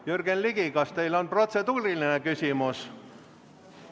Jürgen Ligi, kas teil on protseduuriline küsimus?